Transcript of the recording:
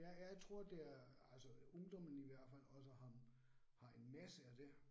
Jeg jeg tror det er altså ungdommen i hvert fald også har har en masse af det